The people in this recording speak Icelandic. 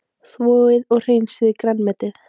Þvoið og hreinsið grænmetið.